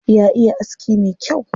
Ya iya aski me kyau.